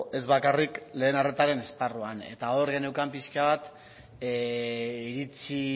ez bakarrik lehen arretaren esparruan eta hor geneukan pixka bat iritzi